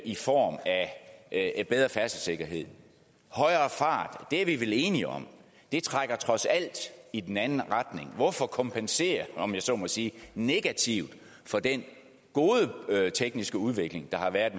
i form af bedre færdselssikkerhed højere fart og det er vi vel enige om trækker trods alt i den anden retning hvorfor kompensere om jeg så må sige negativt for den gode tekniske udvikling der har været